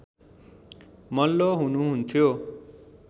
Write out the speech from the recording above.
मल्ल हुनुहुन्थ्यो